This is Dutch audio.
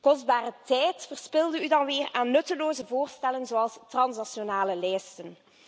Kostbare tijd verspilde u dan weer aan nutteloze voorstellen zoals transnationale lijsten.